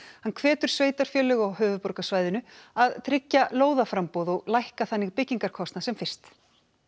hann hvetur sveitarfélög á höfuðborgarsvæðinu að tryggja lóðaframboð og lækka þannig byggingarkostnað sem fyrst